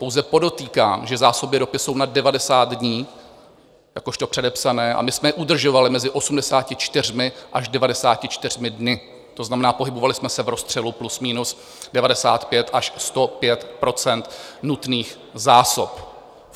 Pouze podotýkám, že zásoby ropy jsou na 90 dní jakožto předepsané a my jsme je udržovali mezi 84 až 94 dny, to znamená, pohybovali jsme se v rozstřelu plus minus 95 až 105 % nutných zásob.